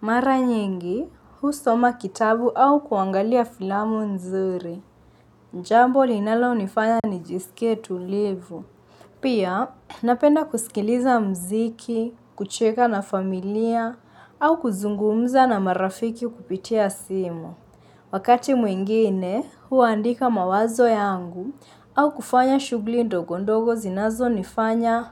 Mara nyingi, husoma kitabu au kuangalia filamu nzuri. Njamboli inalo nifanya ni jisike tulivu. Pia, napenda kusikiliza mziki, kucheka na familia, au kuzungumza na marafiki kupitia simu. Wakati mwingine hua andika mawazo ya angu au kufanya shugli ndogo ndogo zinazo nifanya.